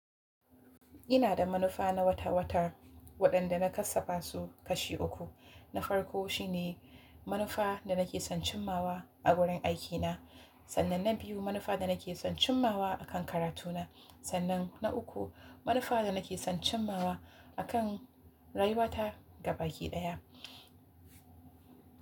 Ina da manufa na wata-wata waɗanda na kassa fasu kashi uku. Na farko shine manufa da nake son cimmawa a wurin aikina, sannan na biyu manufa da nake son cimmawa a kan karatuna, sannan na uku manufa da nake son cimmawa a kan rayuwata gabaki ɗaya.